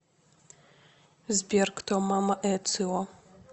сбер кто мама эцио